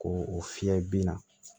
Ko o fiyɛ bin na